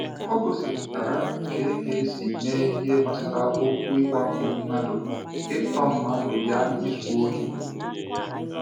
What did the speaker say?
Ọ gụsịpụtara ka a ga esi eme ihe gbasara okwu ịwakpo mmadụ, ịtọ mmadụ ya izu ohi.